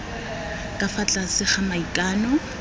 ka fa tlase ga maikano